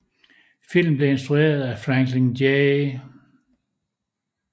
Filmen blev instrueret af Franklin J